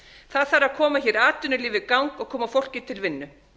það þarf að koma atvinnulífi í gang og koma fólki til vinnu